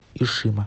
ишима